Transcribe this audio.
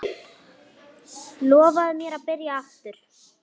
Lofaðu mér að byrja aftur!